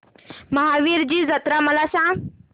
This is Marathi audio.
महावीरजी जत्रा मला सांग